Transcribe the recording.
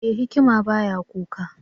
E! hikima ba ya kuka.